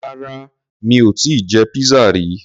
Rárá mi ò tíì jẹ pizza rí.